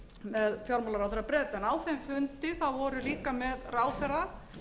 með fjármálaráðherra breta en á þeim fundi þá voru líka með ráðherra